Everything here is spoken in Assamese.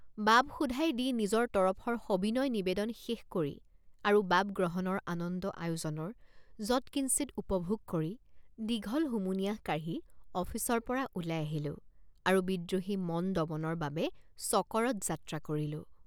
বাব শোধাই দি নিজৰ তৰফৰ সবিনয় নিবেদন শেষ কৰি আৰু বাব গ্ৰহণৰ আনন্দ আয়োজনৰ যৎকিঞ্চিৎ উপভোগ কৰি দীঘল হুমুনিয়াহ কাঢ়ি অফিচৰপৰা ওলাই আহিলোঁ আৰু বিদ্ৰোহী মন দমনৰ বাবে চকৰদ যাত্ৰ৷ কৰিলোঁ।